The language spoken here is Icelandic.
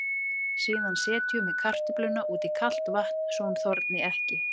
Síðan setjum við kartöfluna út í kalt vatn svo hún þorni ekki.